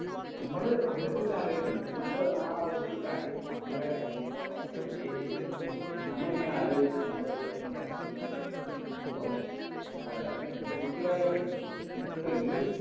നമ്മള് അതിനെ കുറിച്ച് അലോയ്‌ക്കും എന്നിട്ട് നമ്മള് ആ ഒരു കാര്യം നമ്മടെ ജീവിതവുമായിട്ട് relate എയ്തിട്ട് നമ്മളിങ്ങനെ അലോയിച്ച് നമ്മള് വിഷമിക്കാൻ തുടങ്ങും അപ്പൊ ഏർ മാനസിക ആരോഗ്യം ഇപ്പൊ ഈ ഒരു